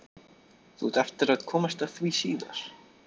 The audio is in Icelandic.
Þú átt eftir að komast að því síðar.